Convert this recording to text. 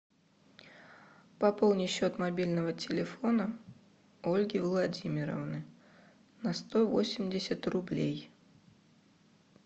пополни счет мобильного телефона ольги владимировны на сто восемьдесят рублей